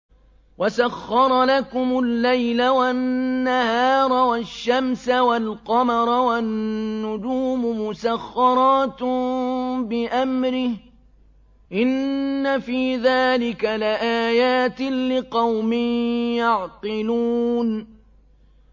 وَسَخَّرَ لَكُمُ اللَّيْلَ وَالنَّهَارَ وَالشَّمْسَ وَالْقَمَرَ ۖ وَالنُّجُومُ مُسَخَّرَاتٌ بِأَمْرِهِ ۗ إِنَّ فِي ذَٰلِكَ لَآيَاتٍ لِّقَوْمٍ يَعْقِلُونَ